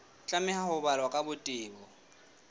tlameha ho balwa ka botebo